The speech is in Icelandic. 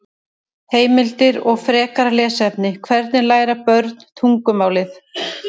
Heimildir og frekara lesefni: Hvernig læra börn tungumálið?